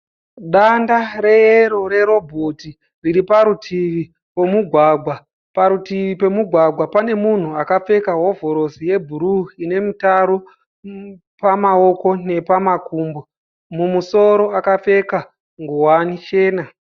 Danda reyero rerobhoti, riri parutivi pemugwagwa. Parutivi pemugwagwa pane munhu akapfeka hovhorosi yebhuruu ine mutaro pamaoko nepamakumbo. Mumusoro akapfeka nguwani chena.